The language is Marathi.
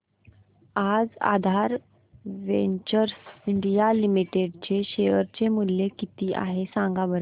आज आधार वेंचर्स इंडिया लिमिटेड चे शेअर चे मूल्य किती आहे सांगा बरं